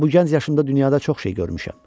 Amma bu gənc yaşımda dünyada çox şey görmüşəm.